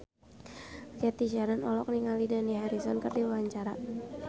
Cathy Sharon olohok ningali Dani Harrison keur diwawancara